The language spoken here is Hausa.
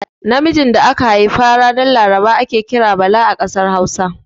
Namijin da aka haifa ranar laraba ake kira Bala a ƙasar Hausa.